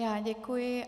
Já děkuji.